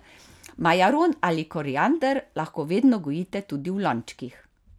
Majaron ali koriander lahko vedno gojite tudi v lončkih.